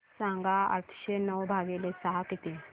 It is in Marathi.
सांगा आठशे नऊ भागीले सहा किती